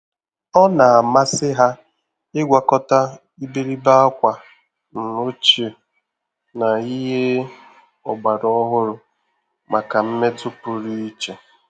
Ọ́ nà-àmàsị́ há ị́gwakọta ìbèrìbè ákwà ọ́chíè na ìhè ọ́gbàrà ọ́hụ́rụ́ màkà mmètụ́ pụrụ iche.